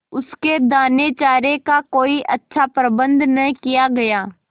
उसके दानेचारे का कोई अच्छा प्रबंध न किया गया